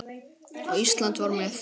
Og Ísland var með.